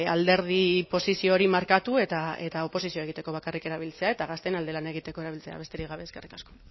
alderdi posizio hori markatu eta oposizioa egiteko bakarrik erabiltzea eta gazteen alde lan egiteko erabiltzea besterik gabe eskerrik asko